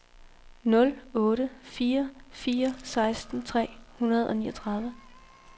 nul otte fire fire seksten tre hundrede og niogtredive